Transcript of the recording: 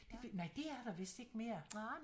Det nej det er der vidst ikke mere